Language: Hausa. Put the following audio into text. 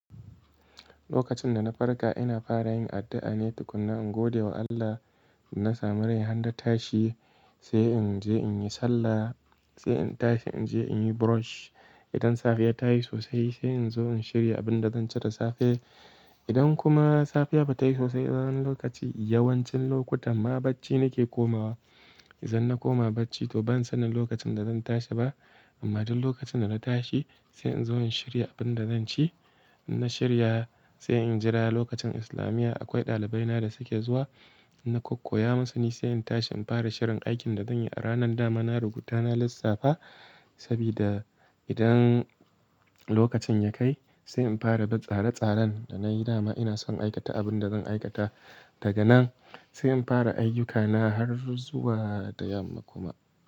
Lokacin da na farka, ina fara yin addu'a ne tukuna, in gode wa Allah. Na sami rai har na tashi sai in je in yi sallah, sai in tashi in je in yi brush. Idan safiya ta yi sosai, sai in zo in shirya abin da zan ci da safe. Idan kuma safiya ba ta yi sosai, wani lokaci yawancin lokutan ma bacci nake komawa. Idan na koma bacci, to ban sanin lokacin da zan tashi ba. Amma duk lokacin da na tashi sai in zo in shirya abin da zan ci. Na shirya, sai in jira lokacin islamiya akwai ɗalibai na da suke zuwa, na kakkoya musu, ni sai in tashi in fara shirin aikin da zan yi a ranan da. Mana rubuta na lissafa. Sabida, idan lokacin ya kai, sai in farabin tsare-tsaren da na yi dama ina son aikata abin da zan aikata, daga nan Sai in fara ayyukana har zuwa da yamma kuma.